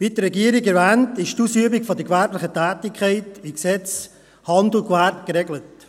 Wie die Regierung erwähnt, ist die Ausübung der gewerblichen Tätigkeit im Gesetz über Handel und Gewerbe (HGG) geregelt.